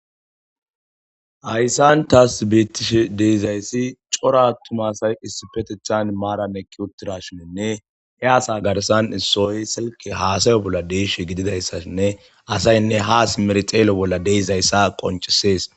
hayssan taas beettishe deezayssi cora attuma asay issipetethan maaran ekki uttira shininne he asa garsan issooy silke haasayo bolla deesh gididayssashinne asaynne ha simer xeelo bolla deeizayssa qoncisees